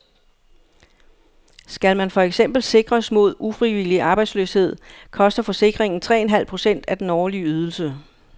Skal man for eksempel sikres mod ufrivillig arbejdsløshed, koster forsikringen tre en halv procent af den årlige ydelse.